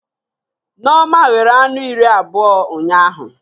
Nneoma ghere anụ iri abụọ ụnyaahụ